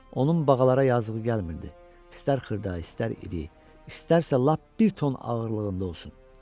Onun bağalara yazığı gəlmirdi, istər xırda, istər iri, istərsə lap bir ton ağırlığında olsun.